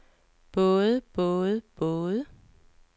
både både både